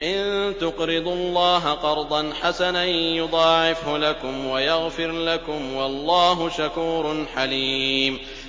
إِن تُقْرِضُوا اللَّهَ قَرْضًا حَسَنًا يُضَاعِفْهُ لَكُمْ وَيَغْفِرْ لَكُمْ ۚ وَاللَّهُ شَكُورٌ حَلِيمٌ